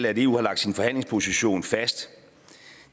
at eu har lagt sin forhandlingsposition fast